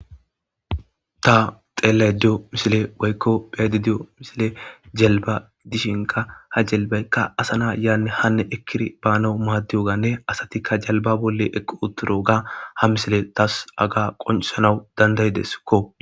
Ta xellayida diyo miissiley woykko beayda doyyo missiley jelliba giddishinka ha jelibbay assz yanne haane ekkidi banawu madiyabane asti jelliba bolla uttidoga ha missiley tass hagga qonccisanawu dandaidessiko